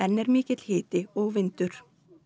er mikill hiti og vindur